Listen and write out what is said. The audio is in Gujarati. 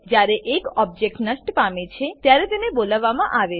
જ્યારે એક ઓબજેક્ટ નષ્ટ પામે છે ત્યારે તેને બોલાવવામાં આવે છે